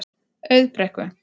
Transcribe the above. Auðbrekku